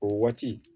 O waati